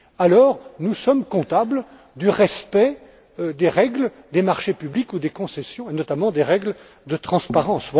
Alors, nous sommes comptables du respect des règles des marchés publics ou des concessions, et notamment des règles de transparence.